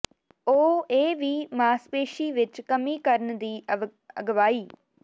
ਉਹ ਇਹ ਵੀ ਮਾਸਪੇਸ਼ੀ ਵਿਚ ਕਮੀ ਕਰਨ ਦੀ ਅਗਵਾਈ